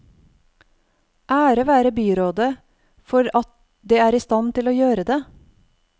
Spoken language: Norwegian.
Ære være byrådet for at det er i stand til å gjøre det.